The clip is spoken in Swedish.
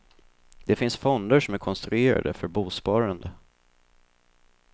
Det finns fonder som är konstruerade för bosparande.